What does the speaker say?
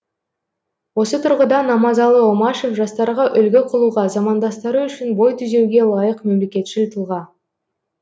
осы тұрғыда намазалы омашев жастарға үлгі қылуға замандастары үшін бой түзеуге лайық мемлекетшіл тұлға